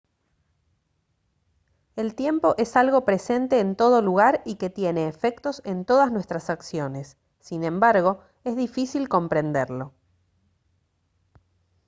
el tiempo es algo presente en todo lugar y que tiene efectos en todas nuestras acciones sin embargo es difícil comprenderlo